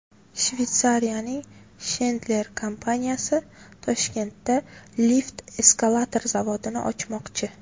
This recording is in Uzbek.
Shveysariyaning Schindler kompaniyasi Toshkentda lift-eskalator zavodini ochmoqchi.